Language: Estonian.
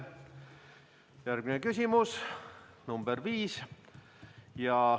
Järgmine küsimus, nr 5.